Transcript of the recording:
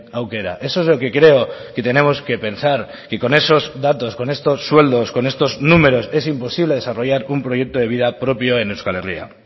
aukera eso es lo que creo que tenemos que pensar que con esos datos con estos sueldos con estos números es imposible desarrollar un proyecto de vida propio en euskal herria